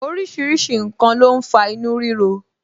Orísìírísìí n kan ló ń fa inú rírọ